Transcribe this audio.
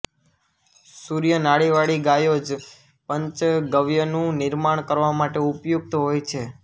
સૂર્ય નાડીવાળી ગાયો જ પંચગવ્યનું નિર્માણ કરવા માટે ઉપયુક્ત હોય છે